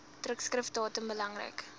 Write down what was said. drukskrif datum belangrik